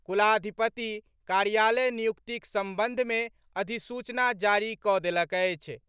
कुलाधिपति कार्यालय नियुक्तिक संबंध में अधिसूचना जारी कऽ देलक अछि।